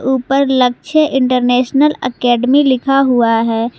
ऊपर Lakshya international academy लिखा हुआ है।